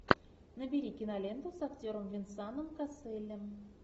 набери киноленту с актером венсаном касселем